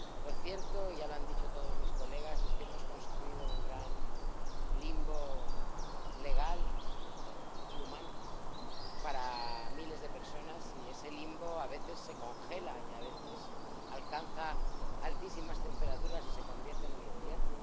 Lo cierto, y ya lo han dicho todas sus señorías, es que hemos construido un gran limbo legal y humano para miles de personas, y ese limbo a veces se congela y a veces alcanza altísimas temperaturas y se convierte en un infierno.